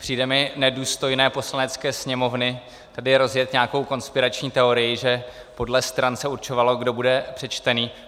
Přijde mi nedůstojné Poslanecké sněmovny tady rozjet nějakou konspirační teorii, že podle stran se určovalo, kdo bude přečtený.